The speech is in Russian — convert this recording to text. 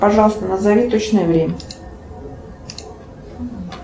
пожалуйста назови точное время